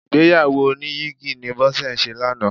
Ìgbéyàwó oníyìgì ni Bọ́sẹ̀ ṣe lánàá.